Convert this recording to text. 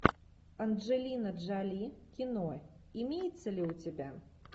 анджелина джоли кино имеется ли у тебя